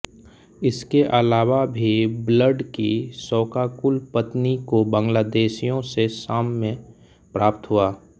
इसके अलावा भी ब्लड की शोकाकुल पत्नी को बांग्लादेशियों से साम्य प्राप्त हुआ